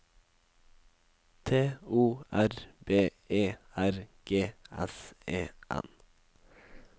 T O R B E R G S E N